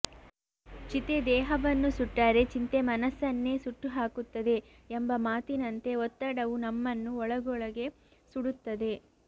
ಚಿತೆ ದೇಹವನ್ನು ಸುಟ್ಟರೆ ಚಿಂತೆ ಮನಸ್ಸನ್ನೇ ಸುಟ್ಟು ಹಾಕುತ್ತದೆ ಎಂಬ ಮಾತಿನಂತೆ ಒತ್ತಡವು ನಮ್ಮನ್ನು ಒಳಗೊಳಗೆ ಸುಡುತ್ತದೆ